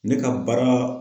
Ne ka baara